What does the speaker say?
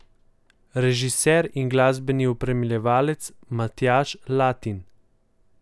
Režiser in glasbeni opremljevalec Matjaž Latin.